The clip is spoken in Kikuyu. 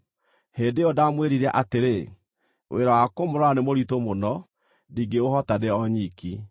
Hĩndĩ ĩyo ndaamwĩrire atĩrĩ, “Wĩra wa kũmũrora nĩ mũritũ mũno, ndingĩũhota ndĩ o nyiki.